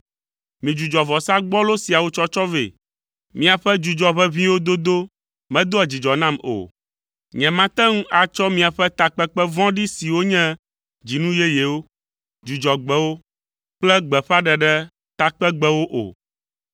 Midzudzɔ vɔsa gbɔlo siawo tsɔtsɔ vɛ! Miaƒe dzudzɔʋeʋĩwo dodo medoa dzidzɔ nam o. Nyemate ŋu atsɔ miaƒe takpekpe vɔ̃ɖi siwo nye dzinu yeyewo, Dzudzɔgbewo kple gbeƒãɖeɖe takpegbewo o.